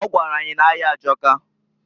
O gwara anyi na-aya ajọka.